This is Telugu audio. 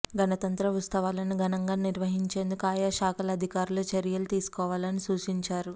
గణతంత్ర ఉత్సవాలను ఘనంగా నిర్వహించేందుకు ఆయా శాఖల అధికారులు చర్యలు తీసుకోవాలని సూచించారు